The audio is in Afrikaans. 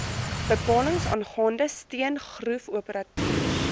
bepalings aangaande steengroefoperateurs